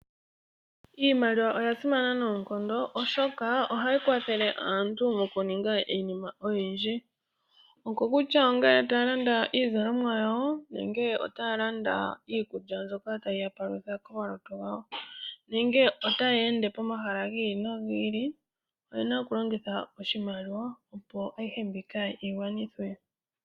Iimaliwa oya simana noonkondo oshoka ohayi kwathele aantu moku ninga iinima oyindji. Oko kutya ongele taya landa iizalomwa yawo, nenge otaya landa iikulya mbyoka tayi ya palutha komalutu gawo, nenge otaya ende pomahala gi ili nogi ili, oyena oku longitha oshimaliwa, opo ayihe mbika yi gwanithwe.